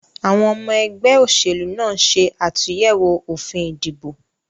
Àwon omo egbé òsèlú náà nse àtúyèwò òfin ìdìbò